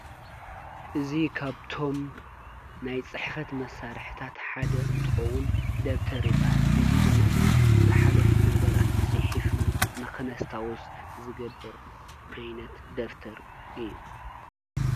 እዚ ኻብቶም ናይ ጽሕፈት መሣርሕታት ሓደ እንትኸውን ደብተር ይበሃል። እዚ ድማነይ ዝሓለፉ ነገራት ፅሒፍና ንኽነስታዉስ ዝገብር ዓይነት ደፍተር እዩ።